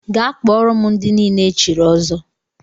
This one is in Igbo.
Gaa kpọọrọ m ndị niile e chiri ọzọ!